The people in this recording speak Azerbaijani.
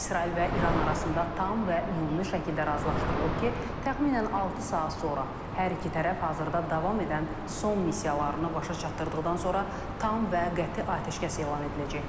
İsrail və İran arasında tam və ümumi şəkildə razılaşdırılıb ki, təxminən altı saat sonra hər iki tərəf hazırda davam edən son missiyalarını başa çatdırdıqdan sonra tam və qəti atəşkəs elan ediləcək.